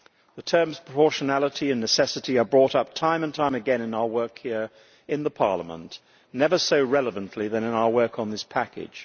The terms proportionality' and necessity' are brought up time and time again in our work here in Parliament, never more relevantly than in our work on this package.